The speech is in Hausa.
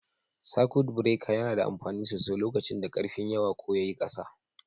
Sakut bireka yana da amfani sosai lokacin da karfin yawa ko yayi ƙasa.